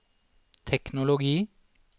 teknologi